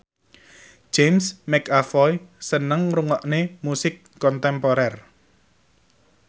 James McAvoy seneng ngrungokne musik kontemporer